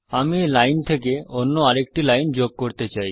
আমি এই লাইন থেকে অন্য আরেকটি লাইন যোগ করতে চাই